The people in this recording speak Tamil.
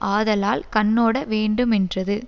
ஆதலால் கண்ணோடவேண்டுமென்றது